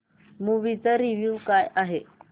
movie चा review काय आहे